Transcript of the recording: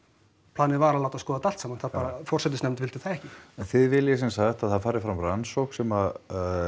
planið var að láta skoða þetta allt saman forsetisnefnd vildi það ekki en þið viljið semsagt að það fari fram rannsókn sem